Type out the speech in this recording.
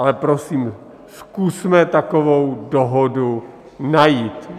Ale prosím, zkusme takovou dohodu najít.